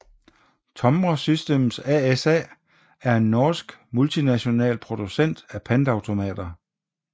Tomra Systems ASA er en norsk multinational producent af pantautomater